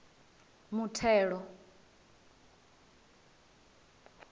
muthelo